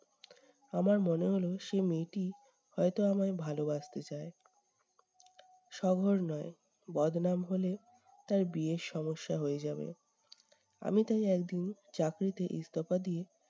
আমার মনে হলো সেই মেয়েটি হয়ত আমায় ভালোবাসতে চায়। শহর নয়, বদনাম হলে তার বিয়ের সমস্যা হয়ে যাবে। আমি তাই একদিন চাকরিতে ইস্তফা দিয়ে-